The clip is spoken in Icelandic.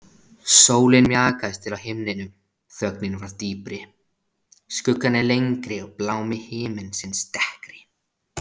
Sólin mjakaðist til á himninum, þögnin varð dýpri, skuggarnir lengri og blámi himinsins dekkri.